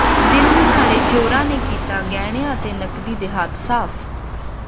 ਦਿਨ ਦਿਹਾੜੇ ਚੋਰਾਂ ਨੇ ਕੀਤਾ ਗਹਿਣਿਆ ਅਤੇ ਨਕਦੀ ਤੇ ਹੱਥ ਸਾਫ